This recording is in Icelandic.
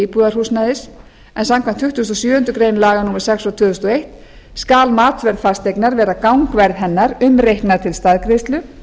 íbúðarhúsnæðis en samkvæmt tuttugustu og sjöundu grein laga númer sex tvö þúsund og eitt skal matsverð fasteignar vera gangverð hennar umreiknað til staðgreiðslu